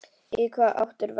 Í hvaða átt er vestur?